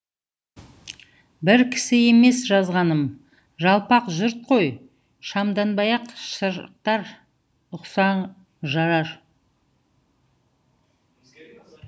бір кісі емес жазғаным жалпақ жұрт қой шамданбай ақ шырақтар ұқсаң жарар